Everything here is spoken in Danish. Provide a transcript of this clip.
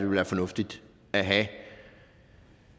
være fornuftigt at have